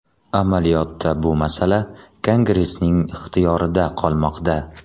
Amaliyotda bu masala Kongressning ixtiyorida qolmoqda.